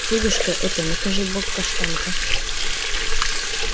федюшка это накажи бог каштанка